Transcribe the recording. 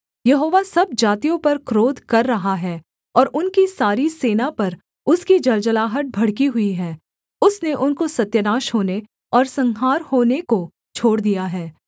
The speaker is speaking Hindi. यहोवा सब जातियों पर क्रोध कर रहा है और उनकी सारी सेना पर उसकी जलजलाहट भड़की हुई है उसने उनको सत्यानाश होने और संहार होने को छोड़ दिया है